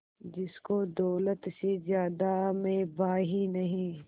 जिसको दौलत से ज्यादा मैं भाई नहीं